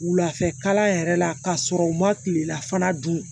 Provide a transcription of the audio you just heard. Wulafɛ kalan yɛrɛ la k'a sɔrɔ u ma kilelafana dun